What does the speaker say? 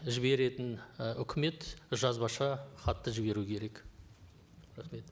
жіберетін і үкімет жазбаша хатты жіберу керек рахмет